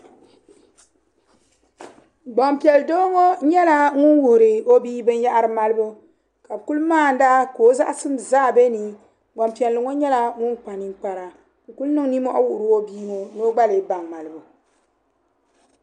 hbampiɛl'doo ŋɔ nyɛla ŋun wuhiri o bia binyahiri malibu ka bɛ kuli maana ka o zaɣasim zaa be ni gbampiɛlli ŋɔ nyɛla ŋun kpa niŋkpara n kuli niŋ ninmohi wuhiri o bia ŋɔ ni o gba lee baŋ malibu.